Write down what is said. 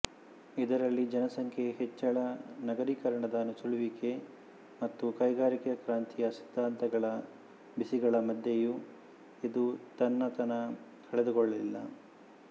ಇದರಲ್ಲಿ ಜನಸಂಖ್ಯೆ ಹೆಚ್ಚಳನಗರಿಕರಣದ ನುಸುಳುವಿಕೆ ಮತ್ತು ಕೈಗಾರಿಕಾ ಕ್ರಾಂತಿಯ ಸಿದ್ದಾಂತಗಳ ಬಿಸಿಗಳ ಮಧ್ಯೆಯೂ ಇದು ತನ್ನತನ ಕಳೆದುಕೊಳ್ಳಲಿಲ್ಲ